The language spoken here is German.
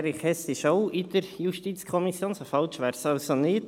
Erich Hess ist auch in der JuKo, so falsch wäre es also nicht.